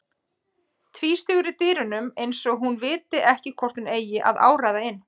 Tvístígur í dyrunum eins og hún viti ekki hvort hún eigi að áræða inn.